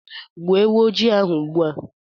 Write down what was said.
Gbuo ewu ojii ahụ ugbu a.